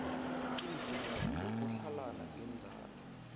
imvumo yokutlhalana ngeenzathu